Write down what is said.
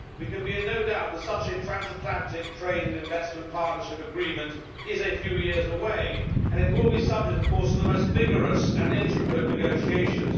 We can be in no doubt that such a transatlantic trade and investment partnership agreement is a few years away, and it will be subject, of course, to the most vigorous and intricate negotiations.